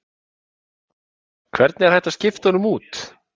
Hvernig er hægt að skipta honum út?